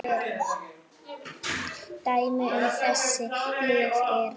Dæmi um þessi lyf eru